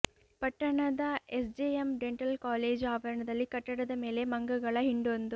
ಪಟ್ಟಣದ S JM dental college ಆವರಣದಲ್ಲಿ ಕಟ್ಟಡದ ಮೇಲೆ ಮಂಗಗಳ ಹಿಂಡೊಂದು